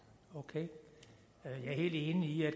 jeg er helt enig i at